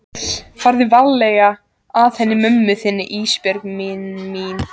Farðu varlega að henni mömmu þinni Ísbjörg mín.